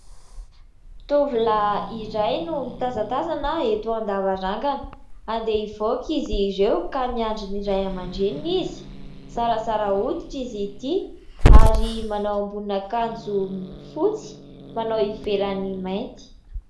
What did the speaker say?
Tovolahy iray no mitazatazana eto an-davarangana, andeha hivoaka izy ireo ka miandry ny Ray amandreniny izy ; zarazara hoditra izy ity ary manao ambonin'akanjo fotsy manao ivelan'ny mainty.